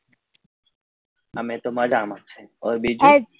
અમે તો મજામાં છો હવે બીજું